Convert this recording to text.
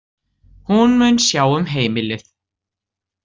Hún mun sjá um heimilið.